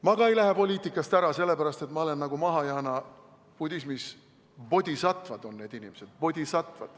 Ma ei lähe ka poliitikast ära sellepärast, et ma olen nagu mahajaana budismis bodhisatvad.